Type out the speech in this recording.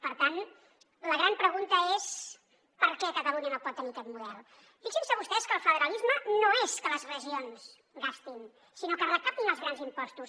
per tant la gran pregunta és per què catalunya no pot tenir aquest model fixin se vostès que el federalisme no és que les regions gastin sinó que recaptin els grans impostos